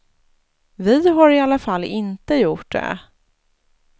Vi har i alla fall inte gjort det.